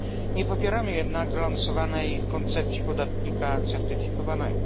Nie popieramy jednak lansowanej koncepcji podatnika certyfikowanego.